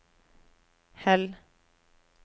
Hell